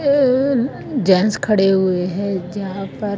gents खडे हुए है जहां पर--